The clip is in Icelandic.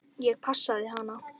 Ég passaði hana.